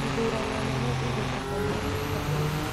Ithurano nene igũtabanio mwaka ũyũ